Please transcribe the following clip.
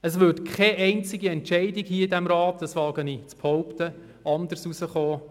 Es würde keine einzige Entscheidung hier in diesem Rat, anders ausfallen, wie ich zu behaupten wage.